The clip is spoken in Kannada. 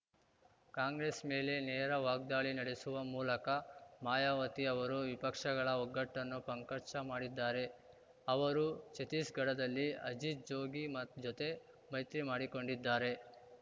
ಕಾಂಗ್ರೆಸ್‌ ಮೇಲೆ ನೇರ ವಾಗ್ದಾಳಿ ನಡೆಸುವ ಮೂಲಕ ಮಾಯಾವತಿ ಅವರು ವಿಪಕ್ಷಗಳ ಒಗ್ಗಟ್ಟನ್ನು ಪಂಕರ್ಚಾ ಮಾಡಿದ್ದಾರೆ ಅವರು ಛತ್ತೀಸ್‌ಗಢದಲ್ಲಿ ಅಜಿತ್‌ ಜೋಗಿ ಮೈ ಜೊತೆ ಮೈತ್ರಿ ಮಾಡಿಕೊಂಡಿದ್ದಾರೆ